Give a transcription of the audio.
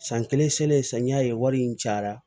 San kelen selen san ye wari in cayara